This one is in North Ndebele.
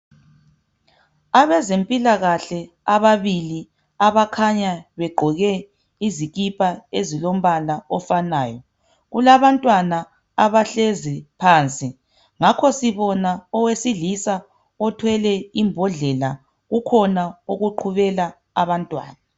Abezempilakahle ababili abakhanya begqoke izikipa ezilombala ofanayo .Kulabantwana abahlezi phansi ngakho sibona owesilisa othwele imbodlela, ukhona okuqhubela abantwana.